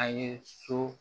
A ye so